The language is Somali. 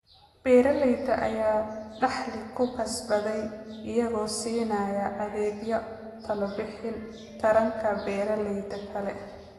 Beeralayda ayaa dakhli ku kasbaday iyagoo siinaya adeegyo talobixin taranta beeralayda kale.